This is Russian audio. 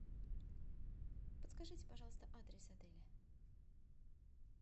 подскажите пожалуйста адрес отеля